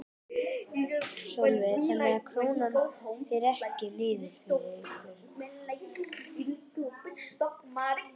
Sölvi: Þannig að Krónan fer ekki niður fyrir ykkur?